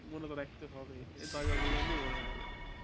মনে তো রাখতে হবেই দশ বার পরলেই এমনই মনে থাকবে